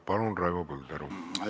Palun, Raivo Põldaru!